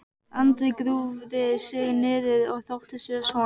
Andri grúfði sig niður og þóttist vera sofandi.